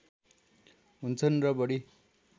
हुन्छन् र बढी